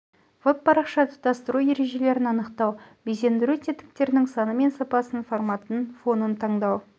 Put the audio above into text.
веб парақша тұтастыру ережелерін анықтау безендіру тетіктерінің саны мен сапасын форматын фонын таңдау